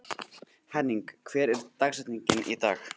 Henning, hver er dagsetningin í dag?